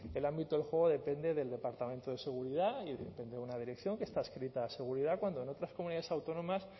el ámbito del juego depende del departamento de seguridad y depende de una dirección que está adscrita a seguridad cuando en otras comunidades autónomas